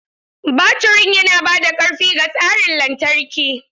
Baturin yana ba da ƙarfi ga tsarin lantarki.